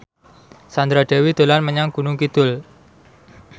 Sandra Dewi dolan menyang Gunung Kidul